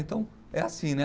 Então é assim, né?